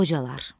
Qocalar.